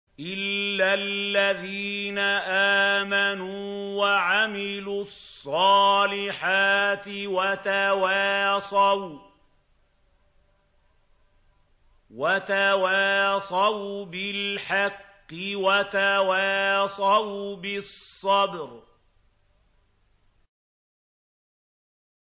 إِلَّا الَّذِينَ آمَنُوا وَعَمِلُوا الصَّالِحَاتِ وَتَوَاصَوْا بِالْحَقِّ وَتَوَاصَوْا بِالصَّبْرِ